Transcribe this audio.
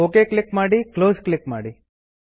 okay click ಮಾಡಿ close click ಮಾಡಿ